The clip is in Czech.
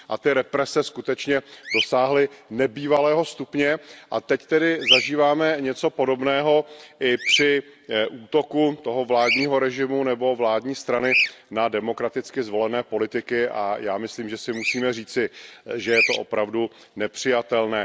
A ty represe skutečně dosáhly nebývalého stupně a teď tedy zažíváme něco podobného i při útoku toho vládního režimu nebo vládní strany na demokraticky zvolené politiky a já myslím, že si musíme říci, že je to opravdu nepřijatelné.